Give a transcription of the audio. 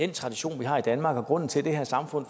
tradition vi har i danmark og at grunden til at det her samfund